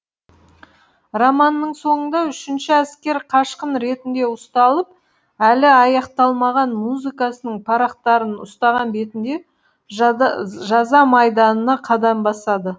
романның соңында үшінші әскер қашқын ретінде ұсталып әлі аяқталмаған музыкасының парақтарын ұстаған бетінде жаза майданына қадам басады